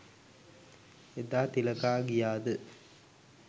එදා තිලකා ගියාද